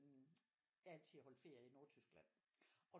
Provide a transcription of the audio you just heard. Jeg har altid holdt ferie i Nordtyskland og